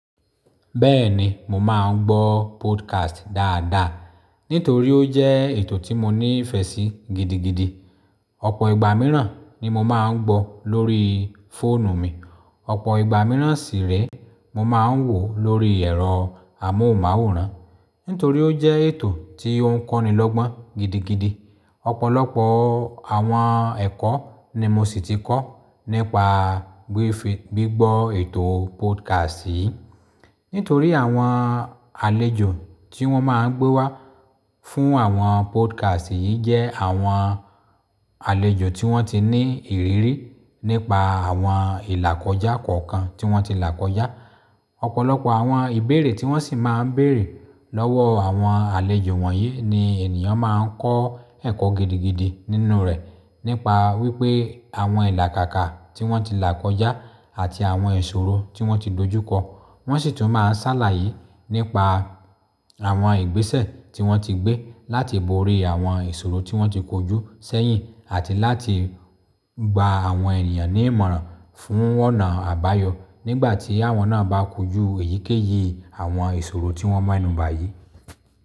Bẹ́ẹ̀ni, mo máa ń gbọ́ podcast dáadáa nítorí ó jẹ́ ètò tí mo ní ìfẹ́ sí gidigidi. Ọ̀pọ̀ ìgbà mìíràn ni mo máa ń gbọ́ lórí fóònù mi. Ọ̀pọ̀ ìgbà mìíràn sì rẹ́ mo máa ń wò lórí ẹ̀rọ amóhùnmáwòrán nítorí ó jẹ́ ètò tí ó ń kọ́ni lọ́gbọ́n gidigidi. Ọ̀pọ̀lọpọ̀ àwọn ẹ̀kọ́ ni mo sì ti kọ́ nípa gbígbọ́ ètò podcast yìí nítorí àwọn àlejò tí wọ́n máa ń gbé wá fún àwọn podcast yìí jẹ́ àwọn àlejò tí wọ́n ti ní ìrírí nípa àwọn ìlàkọjá kọ̀ọ̀kan tí wọ́n ti là kọjá. Ọ̀pọ̀lọpọ̀ àwọn ìbéèrè tí wọ́n sì máa ń bèèrè lọ́wọ́ àwọn àlejò wọ̀nyí ni ènìyàn máa ń kọ́ ẹ̀kọ́ gidigidi nínú rẹ̀ nípa wípé àwọn ìlàkàkà tí wọ́n ti là kọjá àti àwọn ìṣòro tí wọ́n ti dojúkọ. Wọ́n sì tún máa ń sàlàyé nípa àwọn igbésẹ̀ tí wọ́n ti gbé, láti borí àwọn ìṣòro tí wọ́n ti kojú sẹ́yìn àti láti gba àwọn ènìyàn ní ìmọ̀ràn fún ọ̀nà àbáyọ nìgbà tí àwọn na bá kojú èyíkéyìí àwọn ìṣòro tí wọ́n mẹ́nu bá yii.